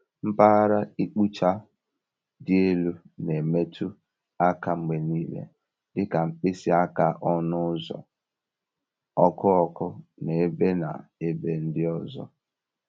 Mpaghara ịkpụcha dị elu na-emetụ aka mgbe niile, dị ka mkpịsị aka ọnụ ụzọ, ọkụ ọkụ, na ebe na ebe ndị ọzọ.